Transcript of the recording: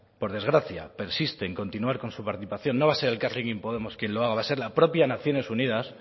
por desgracia persiste en continuar con su participación no va a ser elkarrekin podemos quien lo haga va a ser la propia naciones unidas